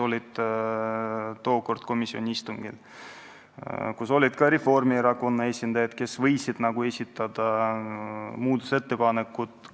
Kohal olid ka Reformierakonna esindajad, kes võisid esitada muudatusettepanekuid.